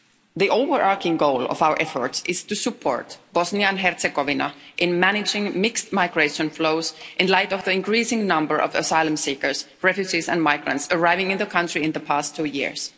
The overarching goal of our efforts is to support Bosnia and Herzegovina in managing mixed migration flows in light of the increasing number of asylum seekers, refugees and migrants arriving in the country in the past two years.